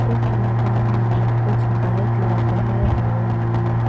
इस मैदान में कुछ बाइक लगाए हुए है।